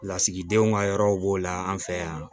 Lasigidenw ka yɔrɔw b'o la an fɛ yan